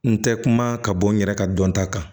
N tɛ kuma ka bɔ n yɛrɛ ka dɔnta kan